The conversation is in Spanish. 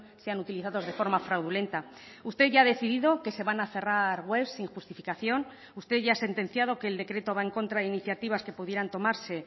sean utilizados de forma fraudulenta usted ya ha decidido que se van a cerrar web sin justificación usted ya ha sentenciado que el decreto va en contra de iniciativas que pudieran tomarse